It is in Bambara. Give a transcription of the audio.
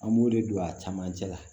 An b'o de don a camancɛ la